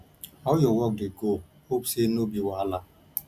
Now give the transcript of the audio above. how your work dey go hope say no be wahala